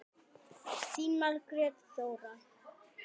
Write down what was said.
Þín, Margrét Þóra.